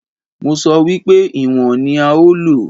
Mo sọ wípé ìwọ̀n ní a ó lò.